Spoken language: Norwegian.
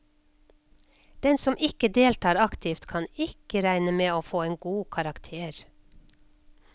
Den som ikke deltar aktivt, kan ikke regne med å få en god karakter.